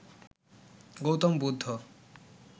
Gautam Buddha